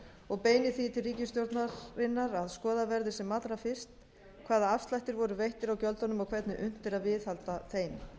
og beinir því til ríkisstjórnarinnar að skoðað verði sem allra fyrst hvaða afslættir voru veittir á gjöldunum og hvernig unnt er að viðhalda þeim